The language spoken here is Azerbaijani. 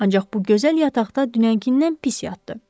Ancaq bu gözəl yataqda dünənkindən pis yatdı.